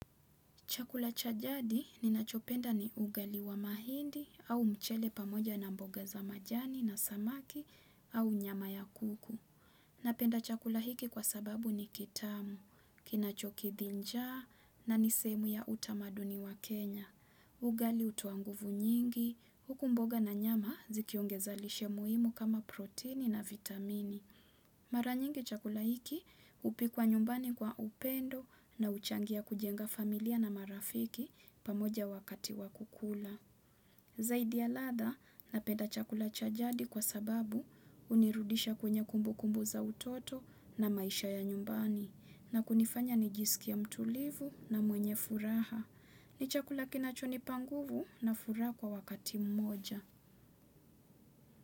Chakula cha jadi ninachopenda ni ugali wa mahindi au mchele pamoja na mboga za majani na samaki au nyama ya kuku. Napenda chakula hiki kwa sababu ni kitamu, kinachokidhi njaa na nisehemu ya utamaduni wa kenya. Ugali hutoa nguvu nyingi, huku mboga na nyama zikiongeza lishe muhimu kama proteini na vitamini. Mara nyingi chakula hiki hupikwa nyumbani kwa upendo na huchangia kujenga familia na marafiki pamoja wakati wa kukula. Zaidi ya ladha napeda chakula cha jadi kwa sababu hunirudisha kwenye kumbukumbu za utoto na maisha ya nyumbani. Na kunifanya nijisikie mtulivu na mwenye furaha. Ni chakula kinachonipa nguvu na furaha kwa wakati mmoja.